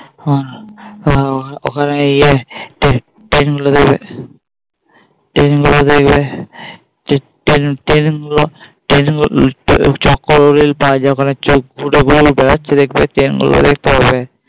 ওখানে ইয়ে Train Train গুলো দেখবে Train গুলো দেখবে Train Train গুলো Train গুলো দেখতে পাবে।